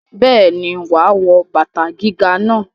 Bẹ́ẹ̀ni, wà á wọ bàbá gíga náà.